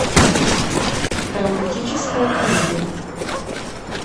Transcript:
романтическая комедия